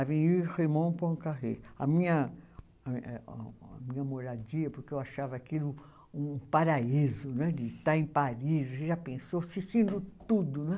A minha eh eh a, a minha moradia, porque eu achava aquilo um paraíso né, de estar em Paris, você já pensou, assistindo tudo não é.